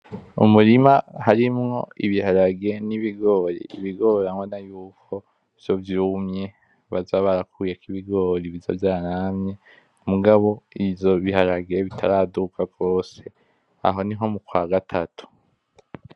Umurima harimwo ibiharage n'ibigori. Ibigori urabona yuko vyo vyumwe, bazoba barakuyeko ibigori bizoba vyanamye. Mugabo ivyo biharage bitaraduga gose, aho ni nko mu kwa gatatu.